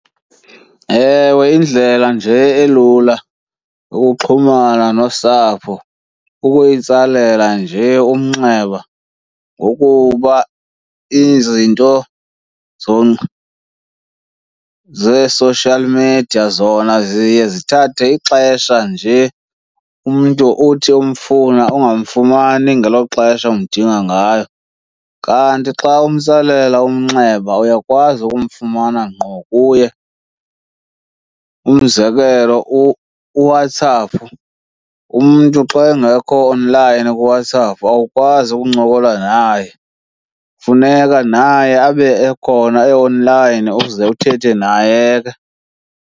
Ewe, indlela nje elula ukuxhumana nosapho kukuyitsalela nje umnxeba ngokuba izinto zee-social media zona ziye zithathe ixesha nje. Umntu uthi umfuna ungamfumani ngelo xesha umdinga ngalo kanti xa umtsalela umnxeba, uyakwazi ukumfumana ngqo kuye. Umzekelo uWhatsApp, umntu xa engekho online kuWhatsApp awukwazi ukuncokola naye, funeka naye abe ekhona e-online uze uthethe naye ke.